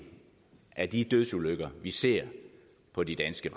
af de dødsulykker vi ser på de danske